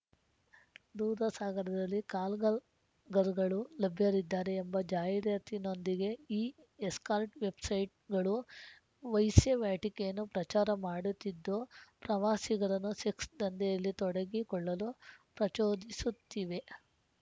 ದೂಧಸಾಗರದಲ್ಲಿ ಕಾಲ್‌ಗಲ್‌ರ್ಗಗಳು ಲಭ್ಯರಿದ್ದಾರೆ ಎಂಬ ಜಾಹೀರಾತಿನೊಂದಿಗೆ ಈ ಎಸ್ಕಾರ್ಟ್‌ ವೆಬ್‌ಸೈಟ್‌ಗಳು ವೈಸ್ಯಾವಟಿಕೆಯನ್ನು ಪ್ರಚಾರ ಮಾಡುತ್ತಿದ್ದು ಪ್ರವಾಸಿಗರನ್ನು ಸೆಕ್ಸ್‌ ದಂಧೆಯಲ್ಲಿ ತೊಡಗಿಕೊಳ್ಳಲು ಪ್ರಚೋದಿಸುತ್ತಿವೆ